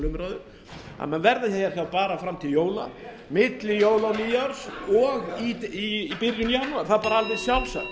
umræðu að við verðum hér fram til jóla milli jóla og nýárs og í byrjun janúar það er alveg sjálfsagt